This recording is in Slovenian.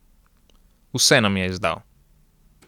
Vse nam je izdal.